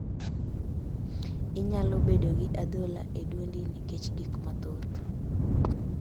Inyalo bedo gi adhola e duondi nikech gik mathoth.